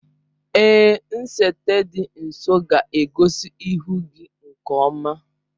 Èé, nsete dị nso ga-egosi ihu gị nke ọma.